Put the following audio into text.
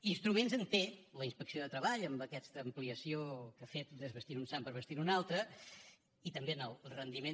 instruments en té la inspecció de treball amb aquesta ampliació que ha fet desvestint un sant per vestir ne un altre i també en el rendiment